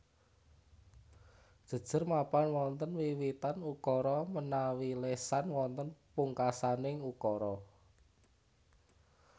Jejer mapan wonten wiwitan ukara menawi lesan wonten pungkasaning ukara